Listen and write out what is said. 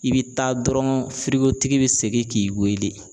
I bɛ taa dɔrɔn firigotigi bɛ segin k'i weele.